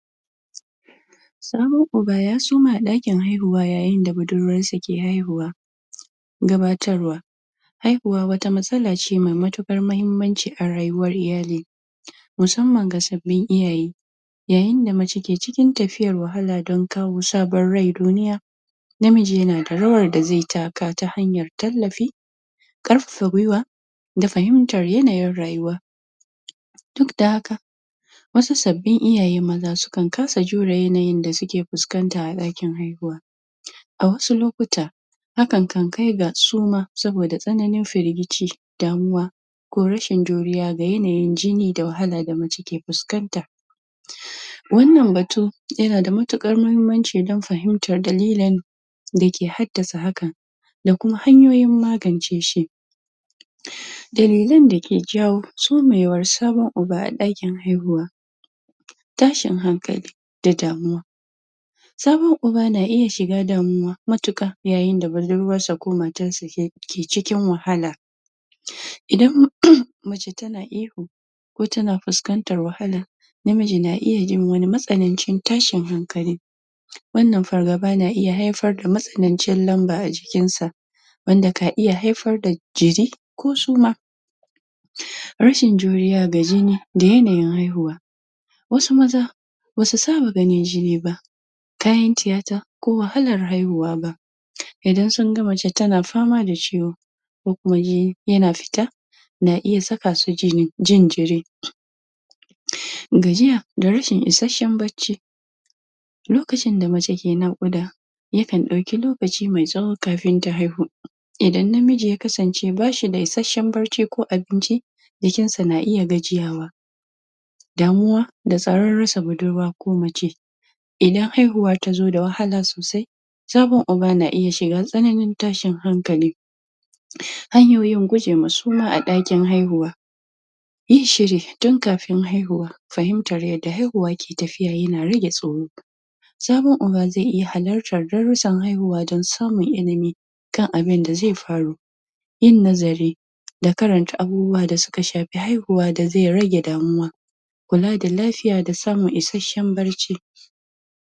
Samun uba ya suma a daki haihuwa yayin da budurwar su ke haihuwa gabatarwa haihuwa wata matsala ce mai mutukar mahimanci a rayuwar iyali masamman ga sabin iyaye yayin da mace ke cikin tafiyar wahala dan kawo sabon rai cikin duniya namiji ya na da rawar da zai taka ta hanyar talafi karfafe gwiwa da fahimtar yanayin rayuwa duk da haka wasu sabin iyaye maza su kan kasa jura yanayin da su ke fuskanta a dakin haihuwa a wasu lokuta hakan kan kai ga suma saboda tsananin firgici damuwa ko rashin juriya ga yanayin jini da wahala da mace ke fuskanta wannan batu ya na da matukar mahimanci dan fahimtar dalilen da ke hadasa hakan da kuma hanyoyin magance shi dalilen da ke jawo sumewar sabon uba a dakin haihuwa tashin hankali da damuwa sabon uba na iya shiga damuwa matuka, yayin da budurwa sa ko matar sa ke cikin wahala idan mace ta na ihu ko ta na fuskantar wahala namiji na iya yin wani matsanin jin tashin hankali wannan fargaba na iya haifar da masanance lamba a jikin sa wanda ka iya haifar da jiri ko suma rashin juriya ga jini da yanayin haihuwa wasu maza ba su saba ganin jini ba kayan tiyata ko wahalar haihuwa ba idan sun gan mace ta na fama da ciwo ko kuma jini ya na fita na iya saka su jini, jin jiri gajiya da rashin isashen baci lokacin da mace ke na'uda ya kan dauki lokaci mai tsawo kafin ta haihu idan namiji ya kasance ba shi da isashen barci ko abinci jikin sa na iya gajiyawa damuwa da tsaron rasa budurwa ko mace idan haihuwa ta zo da wahala sosai sabon uba na iya shiga tsananin tashin hankali hanyoyin gwuje ma suma a dakin haihuwa yin shiri tun kafin haihuwa fahimtar yada haihuwa ke tafiya ya na rage tsoro sabon uba zai iya halartan danrusan haihuwa dan samun ilimi kan abin da zai faru yin nazari da karanta abubuwa da suka shafi haihuwa da zai rage damuwa kula da lafiya da samun isashen barci